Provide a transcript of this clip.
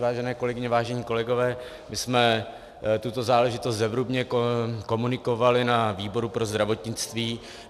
Vážené kolegyně, vážení kolegové, my jsme tuto záležitost zevrubně komunikovali na výboru pro zdravotnictví.